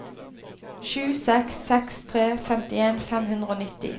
sju seks seks tre femtien fem hundre og nitti